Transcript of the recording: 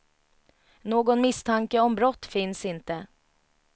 Någon misstanke om brott finns inte.